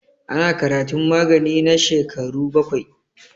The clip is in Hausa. Ana karatun magani na shekaru baƙwai.